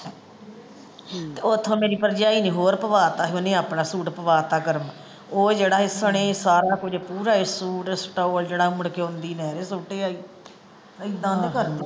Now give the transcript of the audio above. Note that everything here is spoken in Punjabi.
ਓਥੋਂ ਮੇਰੀ ਭਰਜਾਈ ਨੇ ਹੋਰ ਪਵਾ ਤਾ ਸੀ ਓਹਨੇ ਆਪਣਾ ਸੂਟ ਪਵਾ ਤਾ ਗਰਮ ਉਹ ਜਿਹੜਾ ਸੀ ਸਣੇ ਸਾਰਾ ਕੁਝ ਪੂਰਾ ਹੀ ਸੂਟ stall ਜਿਹੜਾ ਮੁੜਕੇ ਆਉਂਦੀ ਨਹਿਰੇ ਸੁੱਟ ਆਈ ਏਦਾਂ .